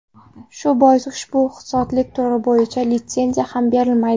Shu bois, ushbu ixtisoslik turi bo‘yicha litsenziya ham berilmaydi.